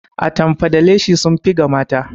Atamfa da leshi sun fi ga mata